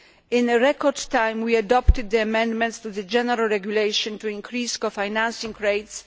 In record time we adopted the amendments to the general regulation to increase co financing rates.